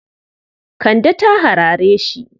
Kande ta harare shi.